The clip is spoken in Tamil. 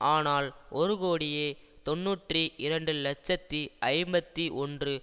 ஆனால் ஒரு கோடியே தொன்னூற்றி இரண்டு இலட்சத்தி ஐம்பத்தி ஒன்று